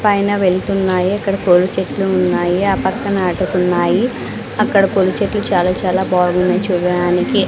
పైన వెళ్తున్నాయి ఇక్కడ పూల చెట్లు ఉన్నాయి ఆ పక్కన అటుకున్నాయి అక్కడ పూలచెట్లు చాలా చాలా బాగున్నాయి చూడడానికి.